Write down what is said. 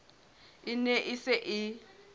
e ne e se e